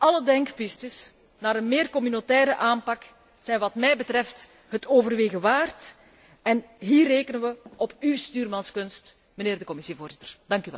Alle denkpistes naar een meer communautaire aanpak zijn wat mij betreft het overwegen waard, en hier rekenen we op uw stuurmanskunst, meneer de Commissievoorzitter.